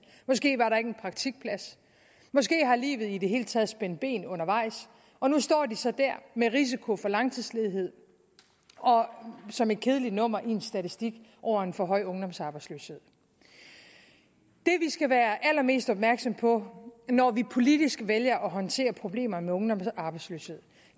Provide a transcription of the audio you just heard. måske var der ikke en praktikplads måske har livet i det hele taget spændt ben undervejs og nu står de så der med risiko for langtidsledighed og som et kedeligt nummer i en statistik over en for høj ungdomsarbejdsløshed det vi skal være allermest opmærksomme på når vi politisk vælger at håndtere problemerne med ungdomsarbejdsløshed